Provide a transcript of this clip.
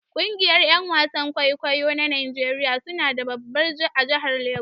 Kungiyar Yan wasan kwaikwayo na Najeriya suna da babbar a jahar Lagos